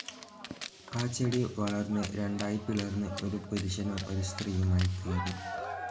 ആ ചെടി വളർന്നു രണ്ടായി പിളർന്ന് ഒരു പുരുഷനും സ്ത്രീയുമായിത്തീർന്നു.